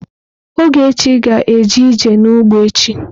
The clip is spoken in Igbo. Ogechi ga-eje ije n'ugbo echi.